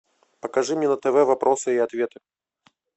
покажи мне на тв вопросы и ответы